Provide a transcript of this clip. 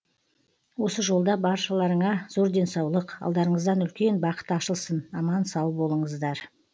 осы жолда баршаларыңа зор денсаулық алдарыңыздан үлкен бақыт ашылсын аман сау болыңыздар